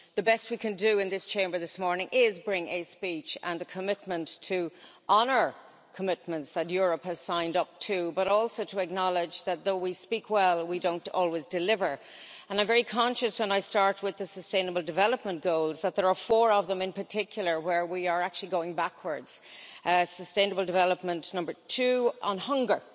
The best we can do in this Chamber this morning is bring a speech and a commitment to honour commitments that Europe has signed up to, but also to acknowledge that though we speak well, we don't always deliver. I am very conscious when I start with the Sustainable Development Goals that there are four of them, in particular, where we are actually going backwards, for example, Sustainable Development Goal 2 on hunger.